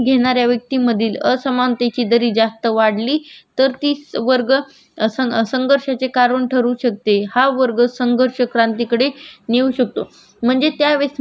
हा वर्ग संघर्षक क्रांतीकडे नेऊ शकतो म्हणजे त्यावेळेस मार्क्सने असा अभ्यास केला होता की म्हणजे. भाजी पाला गोडा करणारी किंवा शिकार करणारे हे दोन लोक